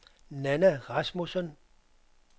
Nanna Rasmussen